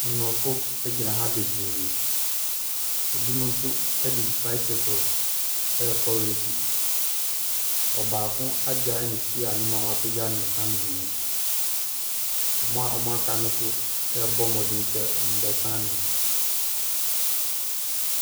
Mmorɔfo ɛgyina ha bebree, ebimo so ɛde basekel ɛɛkɔ resis. Ɔbaako agyae ne stiya no mu a w'apagye ne nsa mmienu. Ɔmo a ɔmo aka no so ɛɛbɔ mmɔden sɛ ɔmo bɛsan ne ho.